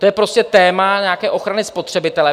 To je prostě téma nějaké ochrany spotřebitele.